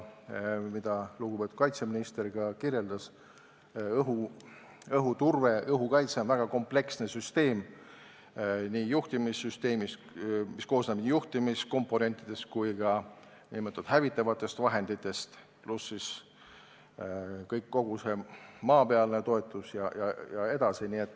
Ja lugupeetud kaitseminister kirjeldas ka seda, kuidas õhuturve, õhukaitse on väga kompleksne süsteem – juhtimissüsteem, mis koosneb nii juhtimiskomponentidest kui ka hävitavatest vahenditest, lisaks kogu see maapealne toetus jne.